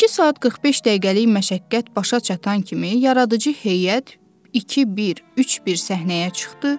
İki saat 45 dəqiqəlik məşəqqət başa çatan kimi yaradıcı heyət 2-1-3-1 səhnəyə çıxdı.